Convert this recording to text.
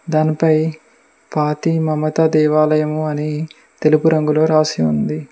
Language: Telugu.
దానిపై ఫాతి మమతా దేవాలయము అని తెలుపు రంగులో రాసి ఉంది.